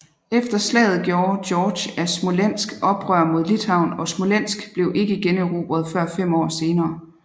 Efter slaget gjorde George af Smolensk oprør mod Litauen og Smolensk blev ikke generobret før fem år senere